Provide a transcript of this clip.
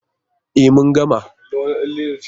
E, mun gama.